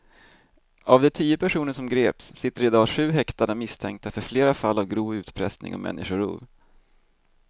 Av de tio personer som greps sitter i dag sju häktade misstänkta för flera fall av grov utpressning och människorov.